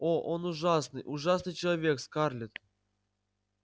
о он ужасный ужасный человек скарлетт